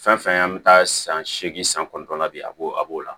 Fɛn fɛn an bɛ taa san seegin san kɔnɔntɔnna bi a b'o a b'o la